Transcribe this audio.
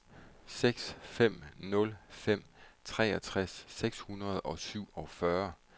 seks fem nul fem treogtres seks hundrede og syvogfyrre